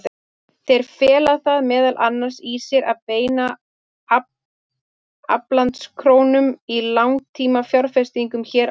Þeir fela það meðal annars í sér að beina aflandskrónum í langtímafjárfestingu hér á landi.